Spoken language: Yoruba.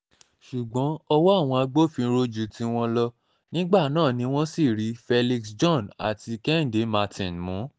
ṣùgbọ́n ọwọ́ àwọn agbófinró ju tiwọn lọ nígbà náà ni wọ́n sì rí felix john àti kẹ́hìndé martin mú